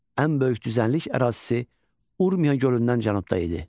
Ən böyük düzənlik ərazisi Urmiya gölündən cənubda idi.